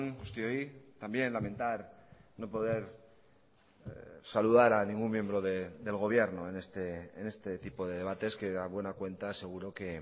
guztioi también lamentar no poder saludar a ningún miembro del gobierno en este tipo de debates que a buena cuenta seguro que